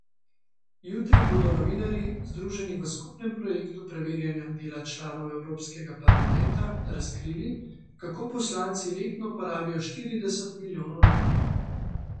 Jutri bodo novinarji, združeni v skupnem projektu preverjanja dela članov evropskega parlamenta, razkrili, kako poslanci letno porabijo štirideset milijonov evrov.